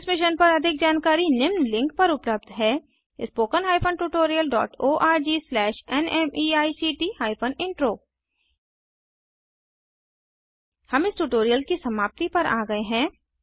इस मिशन पर अधिक जानकारी निम्न लिंक पर उपलब्ध है httpspoken tutorialorgNMEICT Intro हम इस ट्यूटोरियल की समाप्ति पर आ गए हैं